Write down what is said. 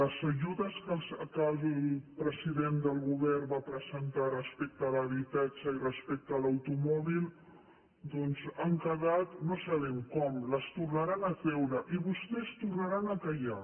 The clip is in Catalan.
les ajudes que el president del govern va pre·sentar respecte a l’habitatge i respecte a l’automòbil doncs han quedat no sabem com les tornaran a treure i vostès tornaran a callar